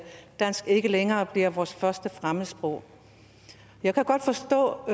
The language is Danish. dansk ikke længere bliver vores første fremmedsprog jeg kan godt forstå